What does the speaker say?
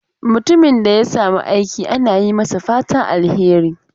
Mutumin da ya samu aiki ana yi masa fatan alheri.